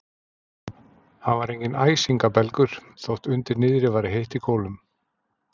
Hann var enginn æsingabelgur, þótt undir niðri væri heitt í kolum.